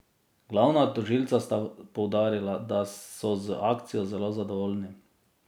Glavna tožilca sta poudarila, da so z akcijo zelo zadovoljni.